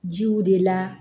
Jiw de la